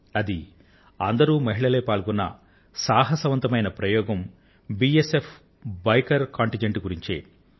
అది అందరూ మహిళలే పాల్గొన్న సాహసవంతమైన ప్రయోగం బిఎస్ఎఫ్ బైకర్ కంటింజెంట్ గురించే ఉంది